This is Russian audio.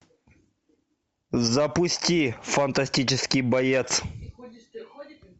запусти фантастический боец